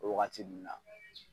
O waagati nunnu na.